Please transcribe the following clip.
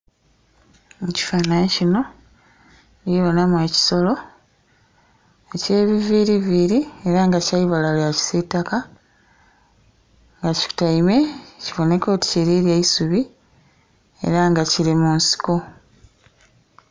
Mu ekifanhanhi kino ndhibonamu ekisolo ekyebiviriviri, era nga kyaibala lya kisitaka nga kikutaime kiboneka oti kirirya eisubi era nga kiri mu nsiko.